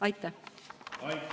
Aitäh!